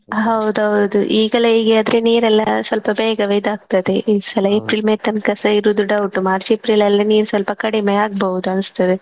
ಹೌದೌದು ಈಗಲೇ ಹೀಗೆ ಆದ್ರೆ ನೀರೆಲ್ಲಾ ಸ್ವಲ್ಪ ಬೇಗವೇ ಇದಾಗ್ತದೆ ಈ ಸಲ April May ತನಕ ಇರುದು doubt March April ಅಲ್ಲಿ ನೀರು ಸ್ವಲ್ಪ ಕಡಿಮೆ ಆಗ್ಬೋದು ಅನಿಸ್ತದೆ.